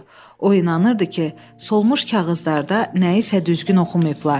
O inanırdı ki, solmuş kağızlarda nəyisə düzgün oxumayıblar.